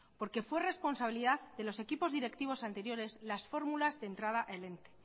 porque fue responsabilidad de los equipos directivos anteriores las fórmulas de entrada al ente